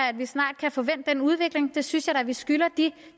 at vi snart kan få vendt den udvikling det synes jeg da at vi skylder de